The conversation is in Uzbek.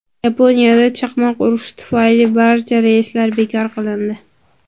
Yaponiyada chaqmoq urishi tufayli barcha reyslar bekor qilindi.